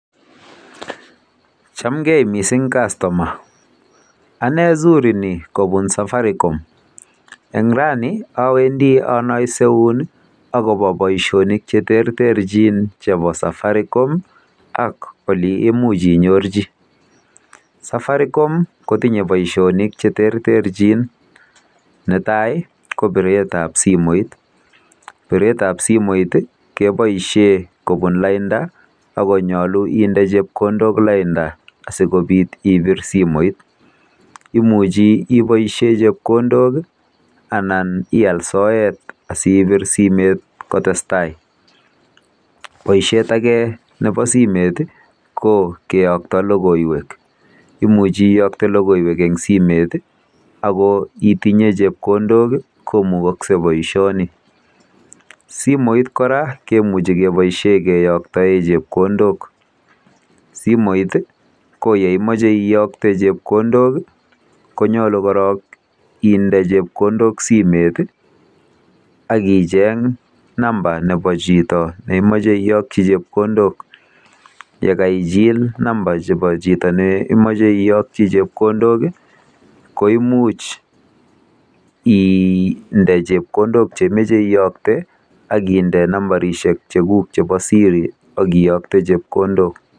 Chamgei mising Kastoma. Ane zuri ni kobun afaricom. Eng rani awendi anaiseun akobo boisionik cheterterchin chebo safaricom ak oleimuch inyorji. Safaricom kotinye boisionik cheterterchin. Netai ko biretab simoit